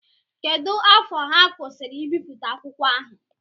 Kedụ afọ ha kwụsịri ibipụta akwụkwọ ahụ?